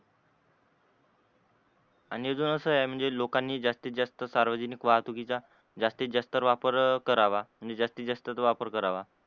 आणि अस अजून आहे म्हणजे लोकांनी जास्तीत जास्त सार्वजनिक वाहतुकीचा जास्तीत जास्त वापर करावा आणि जास्तीत जास्त वापर करावा.